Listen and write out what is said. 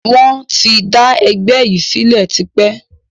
Wọn tí d ẹgbẹ́ yìí sílẹ̀ tipẹ́